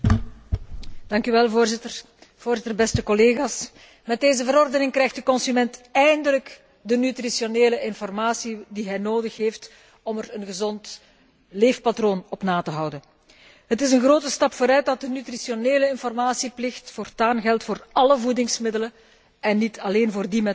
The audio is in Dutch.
Voorzitter, met deze verordening krijgt de consument eindelijk de nutritionele informatie die hij nodig heeft om er een gezond leefpatroon op na te houden. Het is een grote stap vooruit dat de nutritionele informatieplicht voortaan geldt voor alle voedingsmiddelen en niet alleen voor die met een gezondheidsclaim.